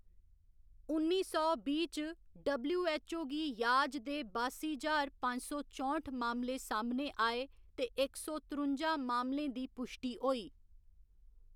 उन्नी सौ बीह्‌ च, डब्लू.ऐच्च.ओ. गी याज दे बासी ज्हार पंज सौ चौंठ मामले सामनै आए ते इक सौ त्रुंजा मामलें दी पुश्टी होई।